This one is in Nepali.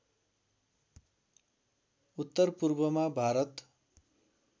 उत्तर पूर्वमा भारत